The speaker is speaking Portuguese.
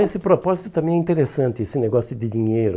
Esse propósito também é interessante, esse negócio de dinheiro.